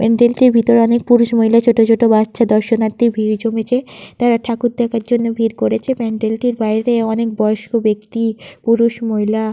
প্যান্ডেল -টির ভিতরে অনেক পুরুষ মহিলা ছোট ছোট বাচ্চা দর্শনার্থী ভিড় জমিয়েছে । তারা ঠাকুর দেখার জন্য ভিড় করেছে প্যান্ডেল -টির বাইরে অনেক বয়স্ক ব্যক্তি পুরুষ মহিলা--